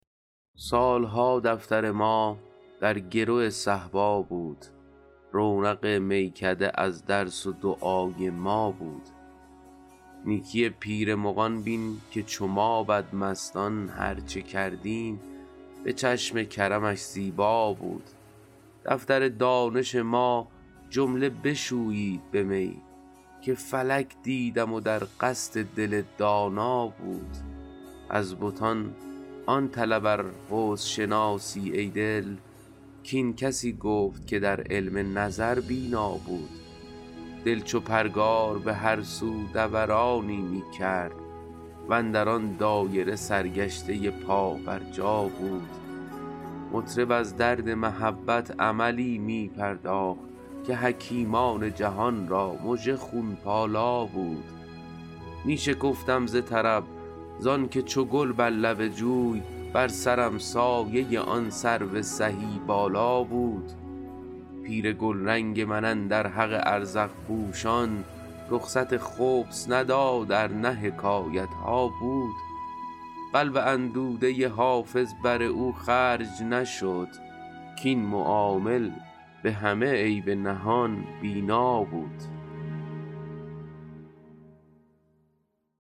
سال ها دفتر ما در گرو صهبا بود رونق میکده از درس و دعای ما بود نیکی پیر مغان بین که چو ما بدمستان هر چه کردیم به چشم کرمش زیبا بود دفتر دانش ما جمله بشویید به می که فلک دیدم و در قصد دل دانا بود از بتان آن طلب ار حسن شناسی ای دل کاین کسی گفت که در علم نظر بینا بود دل چو پرگار به هر سو دورانی می کرد و اندر آن دایره سرگشته پابرجا بود مطرب از درد محبت عملی می پرداخت که حکیمان جهان را مژه خون پالا بود می شکفتم ز طرب زان که چو گل بر لب جوی بر سرم سایه آن سرو سهی بالا بود پیر گلرنگ من اندر حق ازرق پوشان رخصت خبث نداد ار نه حکایت ها بود قلب اندوده حافظ بر او خرج نشد کاین معامل به همه عیب نهان بینا بود